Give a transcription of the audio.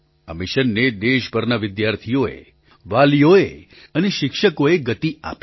આ મિશનને દેશભરના વિદ્યાર્થીઓએ વાલીઓએ અને શિક્ષકોએ ગતિ આપી